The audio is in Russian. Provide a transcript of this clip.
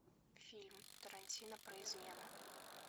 фильм тарантино про измену